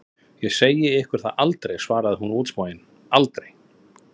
Ég segi ykkur það aldrei, svarði hún útsmogin, aldrei!